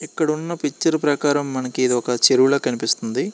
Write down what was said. ఇక్కడున్న పిక్చర్ ప్రకారం మనకి ఇది ఒక చెరువు లా కనిపిస్తుంది.